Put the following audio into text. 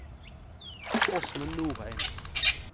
Åsmund Norheim